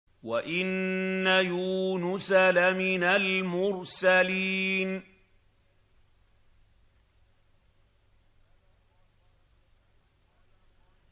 وَإِنَّ يُونُسَ لَمِنَ الْمُرْسَلِينَ